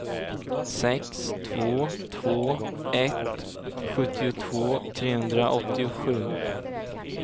sex två två ett sjuttiotvå trehundraåttiosju